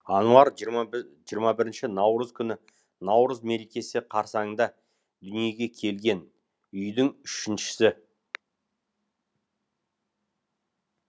ануар жиырма бір жиырма бірінші наурыз күні наурыз мерекесі қарсаңында дүниеге келген үйдің үшіншісі